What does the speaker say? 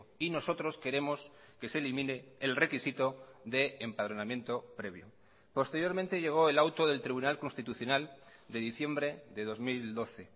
y nosotros queremos que se elimine el requisito de empadronamiento previo posteriormente llegó el auto del tribunal constitucional de diciembre de dos mil doce